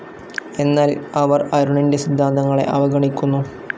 എന്നാൽ അവർ അരുണിൻ്റെ സിദ്ധാന്തങ്ങളെ അവഗണിക്കുന്നു